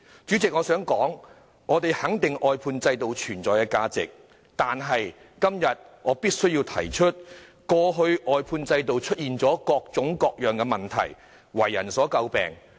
代理主席，我們肯定外判制度的存在價值，但我今天必須指出，外判制度在過去出現了各種各樣的問題，為人詬病。